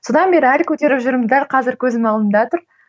содан бері әлі көтеріп жүрмін дәл қазір көзім алдында тұр